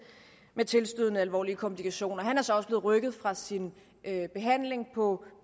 med tilstødende alvorlige komplikationer han er så også blevet rykket fra sin behandling på